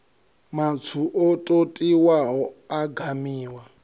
matswu o totiwaho a gamiwa